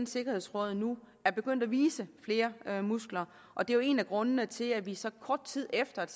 sikkerhedsråd nu er begyndt at vise flere muskler og det er jo en af grundene til at vi så kort tid efter at